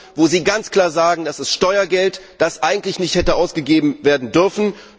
Euro, wo Sie ganz klar sagen Das ist Steuergeld, das eigentlich nicht hätte ausgegeben werden dürfen.